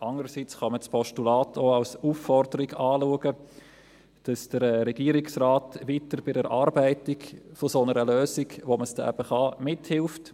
Andererseits kann man das Postulat auch als Aufforderung ansehen, dass der Regierungsrat weiter bei der Erarbeitung einer Lösung mithilft, mit der man das dann eben kann.